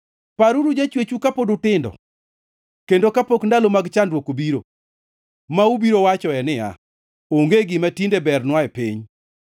Paruru jachwechu kapod utindo, kendo kapok ndalo mag chandruok obiro, ma ubiro wachoe niya, “Onge gima tinde bernwa e piny.”